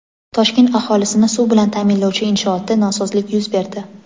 Toshkent aholisini suv bilan ta’minlovchi inshootda nosozlik yuz berdi.